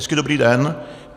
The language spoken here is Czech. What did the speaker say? Hezký dobrý den.